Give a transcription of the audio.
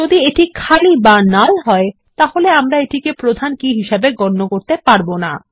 যদি এটি খালি বা নাল হয় তাহলে আমরা এটিকে কোনো প্রাথমিক কী হিসাবে গণ্য করতে পারবো না